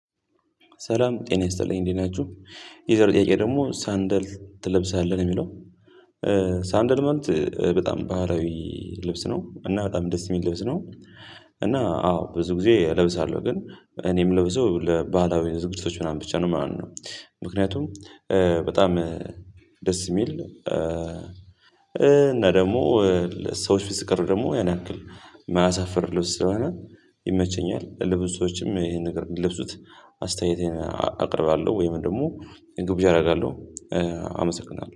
ሰላም ጤና ይስጥልኝ እንዴት ናችሁ? የዛሬው ጥያቄ ደግሞ ሳንደል ትለብሳለህ ነው እሚለው ሳንደልመንት በጣም ባህላዊ ልብስ ነው። እና በጣም ደስ የሚል ልብስ ነው። እና አዎ ብዙ ጊዜ እለብሳለሁ። ግን እኔ ምለብሰው ለባህላዊ ዝግጅቶች ምናምን ብቻ ነው ማለት ነው። ምክንያቱም እ በጣም ደስ የሚል እ እና ደግሞ እ ሰዎች ፊት ስቀርብ ደግሞ ያን ያክል ማያሳፍር ልብስ ስለሆነ ይመቸኛል። ለብዙ ሰዎችም ይሄን ነገር እንዲለብሱት አስተያየቴን አ አቀርባለሁ ወይም ደግሞ ግብዣ አረጋለሁ፤ እ አመሰግናለሁ።